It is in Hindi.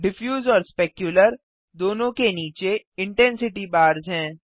डिफ्यूज और स्पेक्यूलर दोनों के नीचे इंटेंसिटी बार्स हैं